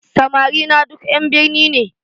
Samari na duk ƴan birni ne